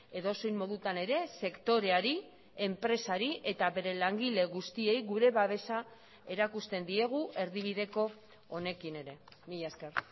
edozein modutan ere sektoreari enpresari eta bere langile guztiei gure babesa erakusten diegu erdibideko honekin ere mila esker